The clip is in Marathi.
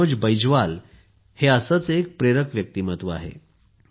मनोज बैजवाल हे असेच एक प्रेरक व्यक्तिमत्व आहे